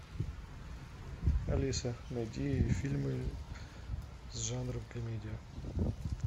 алиса найди фильмы с жанром комедия